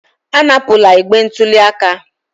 Anapụla igbe ntụli aka!